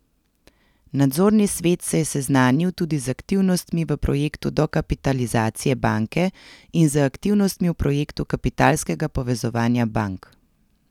Nadzorni svet se je seznanil tudi z aktivnostmi v projektu dokapitalizacije banke in z aktivnostmi v projektu kapitalskega povezovanja bank.